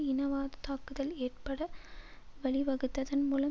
இனவாத தாக்குதல் ஏற்பட வழிவகுத்ததன் மூலம்